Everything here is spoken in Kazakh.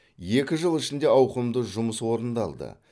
екі жыл ішінде ауқымды жұмыс орындалды